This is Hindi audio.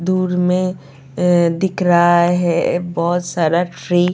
दूर में अ दिख रहा है बहुत सारा ट्री ।